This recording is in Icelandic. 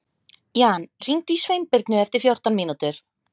Jan, hringdu í Sveinbirnu eftir fjórtán mínútur.